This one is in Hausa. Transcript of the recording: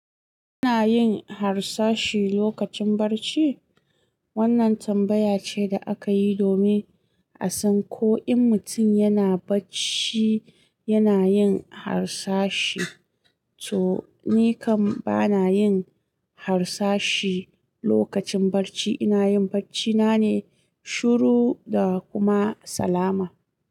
Ina yin harsashi lokacin bacci? Wannan tambaya ce da aka yi domin a san ko in mutum yana bacci yana yin harsashi. To, ni kam ba na yin harsashi lokacin bacci. Ina yin bacci nane shiru da kuma salama.